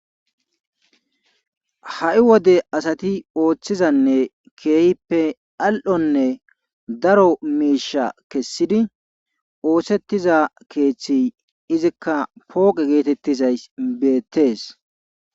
Ha7i wode asati oothizanne keehippe al7onne daro miishakessidi oosettiza keethey izikka pooqe geetettizayssi beettees.